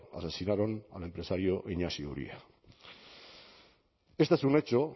asesinaron al empresario inaxio uria esto es un hecho